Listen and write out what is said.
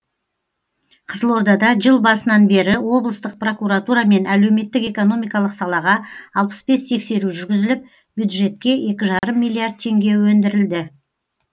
қызылордада жыл басынан бері облыстық прокуратурамен әлеуметтік экономикалық салаға алпыс бес тексеру жүргізіліп бюджетке екі жарым миллиард теңге өндірілді